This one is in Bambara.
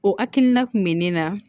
O hakilina kun bɛ ne na